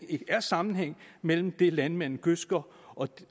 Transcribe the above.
er sammenhæng mellem det landmændene gødsker